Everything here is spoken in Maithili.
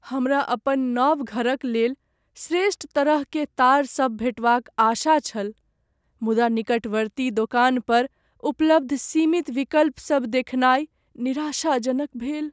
हमरा अपन नव घरक लेल श्रेष्ठ तरह के तार सभ भेटबाक आशा छल, मुदा निकटवर्ती दोकान पर उपलब्ध सीमित विकल्पसभ देखनाइ निराशाजनक भेल ।